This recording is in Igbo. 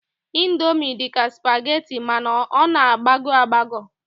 Indomi dị ka spageti mana ọ na-agbagọ agbagọ